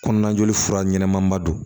Kɔnɔna joli fura ɲɛnama ba don